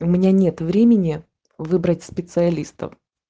у меня нет времени выбрать специалистов